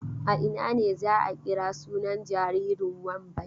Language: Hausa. A ina ne za a kira sunan jaririn Wambai?